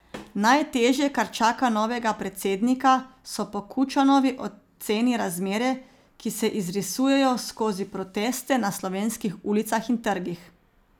Najtežje, kar čaka novega predsednika, so po Kučanovi oceni razmere, ki se izrisujejo skozi proteste na slovenskih ulicah in trgih.